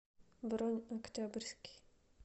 бронь октябрьский